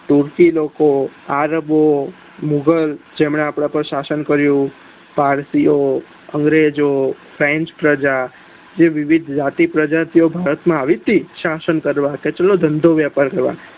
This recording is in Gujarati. સુરતી લોકો આરબો મોગલો જેમને આપડા પર શાસન કર્યુ ભારતીય અગ્રેજો ફ્રેન્સ પ્રજ જે વિવિધ પ્રજાતીઓ ભારત માં આવી હતી શાસન કરવા તો કેટલો ધંધો વેપાર કર્યો